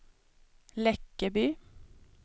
Läckeby